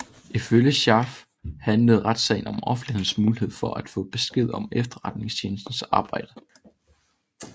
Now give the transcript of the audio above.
Ifølge Scharf handlede retssagen om offentlighedens mulighed for at få besked om efterretningstjenestens arbejde